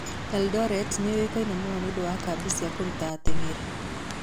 Eldoret nĩ yũĩkaine mũno nĩ ũndũ wa kambĩ cia kũruta ateng'eri.